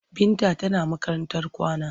Binta tana makarantar kwana.